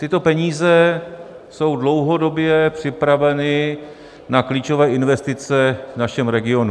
Tyto peníze jsou dlouhodobě připraveny na klíčové investice v našem regionu.